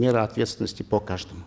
меры ответственности по каждому